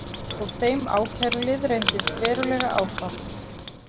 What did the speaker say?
Og þeim ákærulið reyndist verulega áfátt.